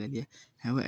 lacuni rabo